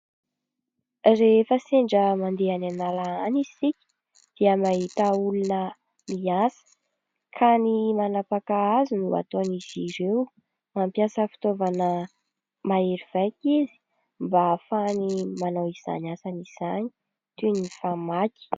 rehefa sendra mandeha any an'ala any isika, dia mahita olona miasa ka ny manapaka azy no ataon'izy ireo mampiasa fitaovana mahery vaika izy, mba ahafahany manao izany asany izany toy ny famaky